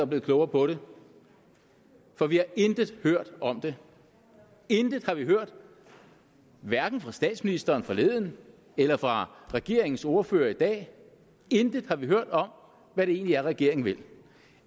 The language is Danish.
blevet klogere på det for vi har intet hørt om det intet har vi hørt hverken fra statsministeren forleden eller fra regeringens ordførere i dag intet har vi hørt om hvad det egentlig er regeringen vil